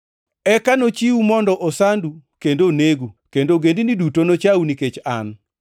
“Eka nochiwu mondo osandu kendo onegu, kendo ogendini duto nochau nikech an.